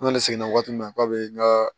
N kɔni seginna waati min na k'a bɛ n ka